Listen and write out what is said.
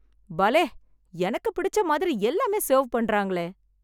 பலே, எனக்கு பிடிச்ச மாதிரி எல்லாமே செர்வ் பண்றாங்களே.